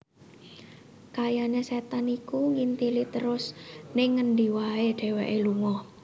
Kayane setan iku nginthili trus ning ngendi wae dheweke lunga